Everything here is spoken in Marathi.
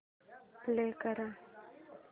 प्ले कर